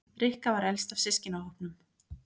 Rikka var elst af systkinahópnum.